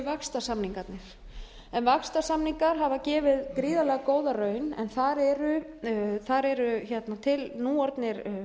vaxtarsamningarnir en vaxtarsamninga hafa gefið gríðarlega góða raun en þar eru til nú orðnir